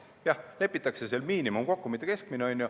Jah, lepitakse kokku miinimum, mitte keskmine.